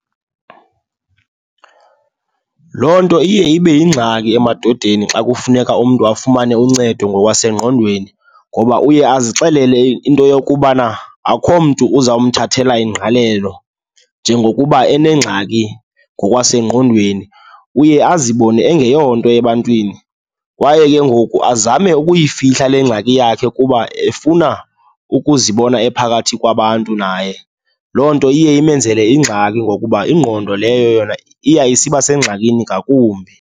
Loo nto iye ibe yingxaki emadodeni xa kufuneka umntu afumane uncedo ngokwasengqondweni ngoba uye azixelele into yokubana akukho mntu uzamthathela ingqalelo njengokuba enengxaki ngokwasengqondweni. Uye azibone engeyonto ebantwini kwaye ke ngoku azame ukuyifihla le ngxaki yakhe kuba efuna ukuzibona ephakathi kwabantu naye. Loo nto iye imenzele ingxaki ngokuba ingqondo leyo yona iya isiba sengxakini ngakumbi.